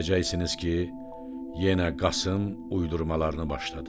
Deyəcəksiniz ki, yenə Qasım uydurmalarını başladı.